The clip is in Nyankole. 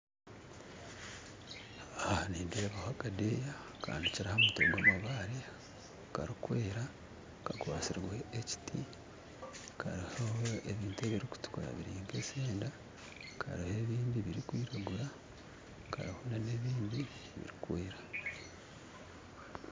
Nindeeba akadeeya kahanikire ahamutwe gwamabaare karikwera kakwatsirwe ekiti kariho ebintu ebirikutukura biri nkesenda kariho nebindi birikwiragura kariho nebindi birikwera.